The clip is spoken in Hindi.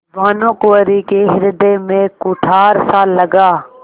भानुकुँवरि के हृदय में कुठारसा लगा